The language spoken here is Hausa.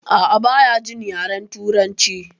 A'a baya jin yaren turanci